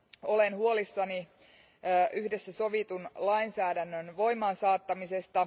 Olen huolissani yhdessä sovitun lainsäädännön voimaansaattamisesta.